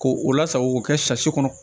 K'o o lasago k'o kɛ kɔnɔ